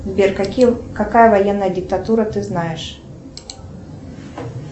сбер какая военная диктатура ты знаешь